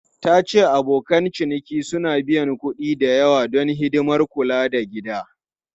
Ta ce abokan ciniki suna biyan kuɗi da yawa don hidimar kula da gida.